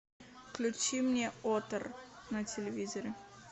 включи мне отр на телевизоре